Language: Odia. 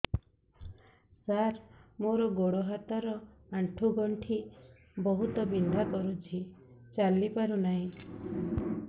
ସାର ମୋର ଗୋଡ ହାତ ର ଆଣ୍ଠୁ ଗଣ୍ଠି ବହୁତ ବିନ୍ଧା କରୁଛି ଚାଲି ପାରୁନାହିଁ